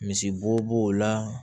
Misibo b'o o la